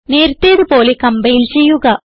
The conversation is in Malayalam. നേരത്തേതു പോലെ കംപൈൽ ചെയ്യുക